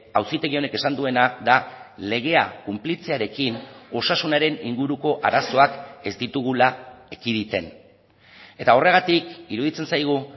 auzitegi honek esan duena da legea kunplitzearekin osasunaren inguruko arazoak ez ditugula ekiditen eta horregatik iruditzen zaigu